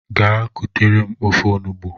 Gee kutere m ofe ọnụgbu!!!!